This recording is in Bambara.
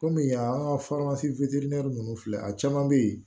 Kɔmi yan an ka ninnu filɛ a caman bɛ yen